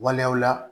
Waleyaw la